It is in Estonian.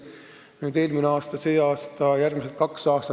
Nii palju eraldati eelmine aasta, see aasta ja eraldatakse ka järgmised kaks aastat.